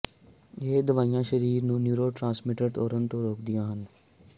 ਇਹ ਦਵਾਈਆਂ ਸਰੀਰ ਨੂੰ ਨਯੂਰੋਟ੍ਰਾਂਸਮੈਂਟਰਾਂ ਤੋੜਨ ਤੋਂ ਰੋਕਦੀਆਂ ਹਨ